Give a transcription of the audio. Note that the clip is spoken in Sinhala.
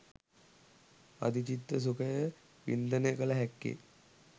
අධිචිත්ත සුඛය වින්දනය කළ හැක්කේ